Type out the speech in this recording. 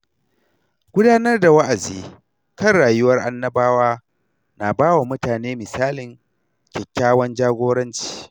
Gudanar da wa’azi kan rayuwar Annabawa na ba wa mutane misalin kyakkyawan jagoranci.